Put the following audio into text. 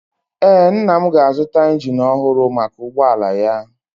Ee, nna m ga-azụta injin ọhụrụ maka ụgbọala ya.